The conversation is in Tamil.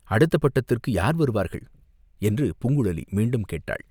அடுத்த பட்டத்துக்கு யார் வருவார்கள்?" என்று பூங்குழலி மீண்டும் கேட்டாள்.